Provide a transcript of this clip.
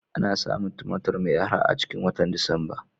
Ana samun Tumatir mai arha a cikin watan Disamba.